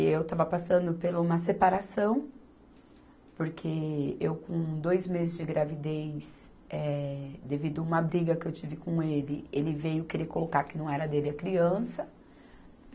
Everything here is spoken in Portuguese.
Eu estava passando pela uma separação, porque eu com dois meses de gravidez, eh, devido uma briga que eu tive com ele, ele veio querer colocar que não era dele a criança.